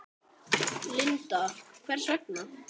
Linda: Hvers vegna?